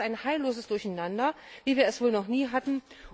Das ist ein heilloses Durcheinander, wie wir es wohl noch nie hatten.